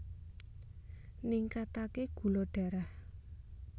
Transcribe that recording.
Ningkataké gula darah